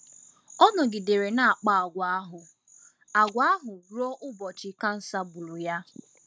Ọ nọgidere na-akpa àgwà ahụ àgwà ahụ ruo ụbọchị ahụ ọrịa kansa gburu ya.